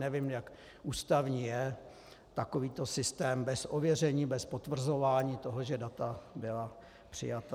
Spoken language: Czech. Nevím, jak ústavní je takovýto systém bez ověření, bez potvrzování toho, že data byla přijata.